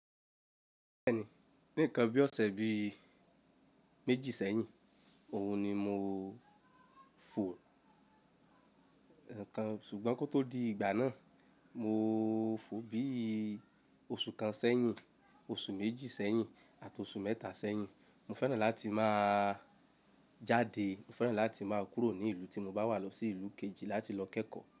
Bẹ́ẹ̀ni, ní ǹkan bí ọ̀sẹ̀ bí méjì sẹ́yìn. Òhun ni mo fò. Ẹ̀ẹ̀kan ṣùgbọ́n kó tó di ìgbà náà, mo fò bí osù kan sẹ́yìn, osù méjì sẹ́yìn àti osù mẹ́ta sẹ́yìn. Mo fẹ́ràn láti máa jáde. Mo fẹ́ràn láti máa kúrò ní ìlú tí mo bá wà lọ sí ìlú kejì láti lọ kẹ́kọ̀ọ́